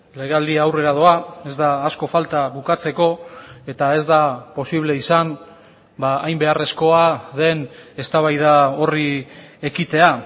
legealdia aurrera doa ez da asko falta bukatzeko eta ez da posible izan hain beharrezkoa den eztabaida horri ekitea